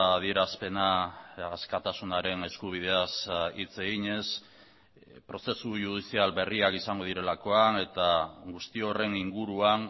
adierazpena askatasunaren eskubideaz hitz eginez prozesu judizial berriak izango direlakoan eta guzti horren inguruan